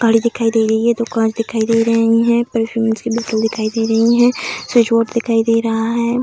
गाड़ी दिखाई दे रही है दूकान दिखाई दे रहें हैं परफ्यूमस की बोतल दिखाई दे रहीं हैं स्विच बोर्ड दिखाई दे रहा है।